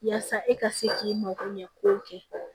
Yasa e ka se k'i mako ɲɛ ko kɛ